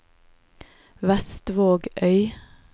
Vestvågøy